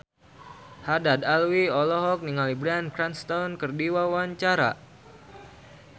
Haddad Alwi olohok ningali Bryan Cranston keur diwawancara